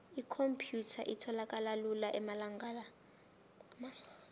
ikhomphyutha itholakala lula amalanga la